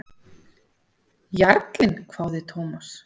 Jarlinn? hváði Thomas.